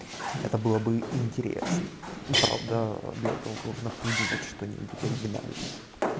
это было бы интересно ну правда для этого нужно придумать что-нибудь оригинальное